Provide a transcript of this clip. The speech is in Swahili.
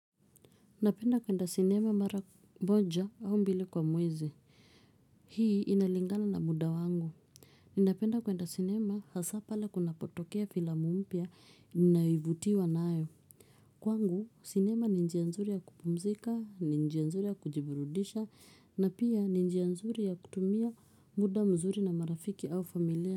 Napenda kwenda sinema mara moja au mbili kwa mwezi. Hii inalingana na muda wangu. Ninapenda kwenda sinema hasa pale kunapotokea filamu mpia naivutiwa nayo. Kwangu sinema ni njia nzuri ya kupumzika, ni njianzuri ya kujiburudisha, na pia ni njianzuri ya kutumia muda mzuri na marafiki au familia.